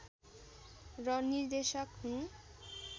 र निर्देशक हुन्